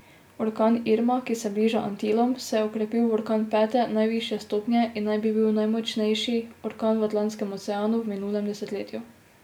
Orkan Irma, ki se bliža Antilom, se je okrepil v orkan pete, najvišje stopnje, in naj bi bil najmočnejši orkan v Atlantskem oceanu v minulem desetletju.